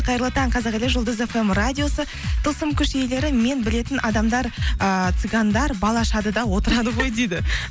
қайырлы таң қазақ елі жұлдыз фм радиосы тылсым күш иелері мен білетін адамдар ыыы цыгандар бал ашады да отырады ғой дейді